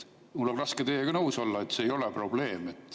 Mul on raske teiega nõus olla, et see ei ole probleem.